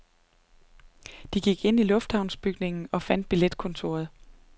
De gik ind i lufthavnsbygningen og fandt billetkontoret.